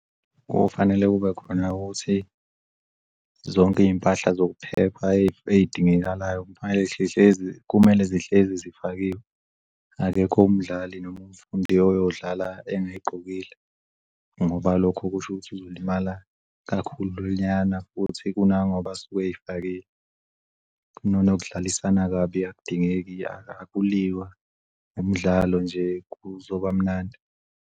Kufanele kube khona ukuthi zonke iy'mpahla zokuphepha ey'dingekalayo kumele zihlezi zifakiwe. Akekho umdlali noma umfundi oyodlala engayigqokile ngoba lokho kusho ukuthi uzolimala kakhulunyana futhi kunangoba esuke ey'fakile. Nokudlalisana kabi akudingeki, akulwiwa umdlalo, nje kuzobamnandi.